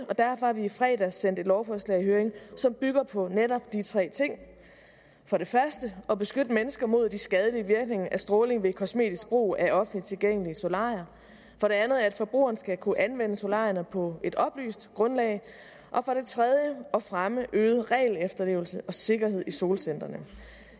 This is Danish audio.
og derfor har vi i fredags sendt et lovforslag i høring som bygger på netop de tre ting for det første at beskytte mennesker mod de skadelige virkninger af stråling ved kosmetisk brug af offentligt tilgængelige solarier for det andet at forbrugerne skal kunne anvende solarierne på et oplyst grundlag og for det tredje at fremme øget regelefterlevelse og sikkerhed i solcentrene